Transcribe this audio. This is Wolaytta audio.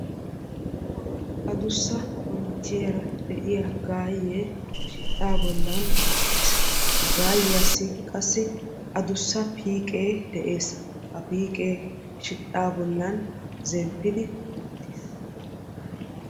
adussa konchchiyaara de"iyaa gaayyee shidhdhaa bollan uttis. Ha gaayyiyasi qasi adussa piiqee de"es. ha piiqee shidhdhaa bollan zenpidi uttis.